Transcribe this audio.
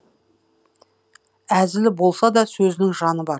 әзілі болса да сөзінің жаны бар